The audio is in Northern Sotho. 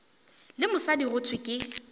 le mosadi go thwe ke